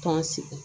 K'an sigi